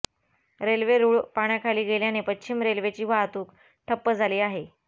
railway रुळ पाण्याखाली गेल्याने पश्चिम रेल्वेची वाहतूक ठप्प झाली आहे